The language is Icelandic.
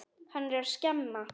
Hann er að skemma.